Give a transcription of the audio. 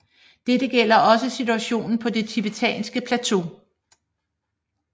Dette gælder også situationen på det tibetanske plateau